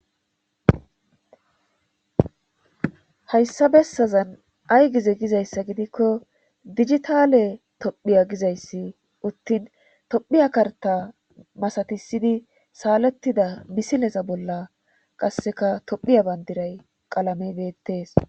Hayssa bessazan ay gize gizayssa gidikko digitale tophiya gizayssi uttin tophiya karta masatisidi saalettida misilesa bolla qasseka tophiya bandiray qalame beettees.